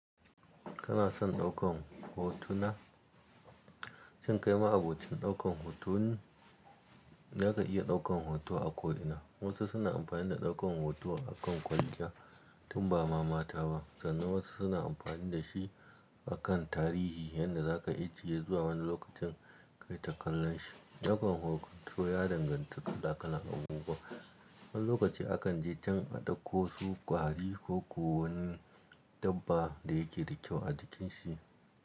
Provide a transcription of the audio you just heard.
Kana son ɗaukan hotuna? Shin kai ma'abocin ɗaukan hoto ne? Zaka iya ɗaukan hoto a ko ina. Wasu suna amfani da ɗaukan hoto akan kwalliya, tun ba ma mata ba, sannan wasu suna amfani da shi akan tarihi yadda za ka ijiye zuwa wani lokacin kai ta kallon shi. Ɗaukan hoto ya danganta kala-kalan abubuwa. Wani lokaci akan je can a ɗauko su ƙwari ko ko wani dabba da yake da kyau a jikin shi.